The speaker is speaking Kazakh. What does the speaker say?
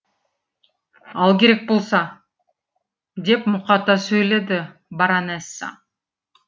ал керек болса деп мұқата сөйледі баронесса